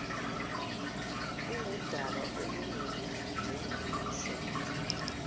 kungudaba olungelubi njengokusho